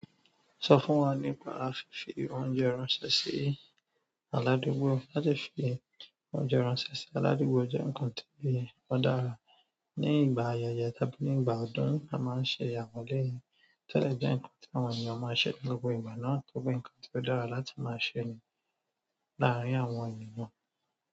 Sọ fún wa nípa fífi oúnjẹ ránṣẹ́ sí aládùúgbò. Láti fi oúnjẹ ránṣẹ́ sí aládùúgbò jẹ́ nǹkan ti o dára ní ìgbà ayẹyẹ tàbí ní ìgbà ọdún. A máa ń ṣe àwọn eleyi to dẹ jẹ nǹkan tí àwọn ènìyàn máa ń ṣe ní gbogbo ìgbà náà torí pé nǹkan tí ó dára láti máa ṣe nínú láàárín àwọn ènìyàn.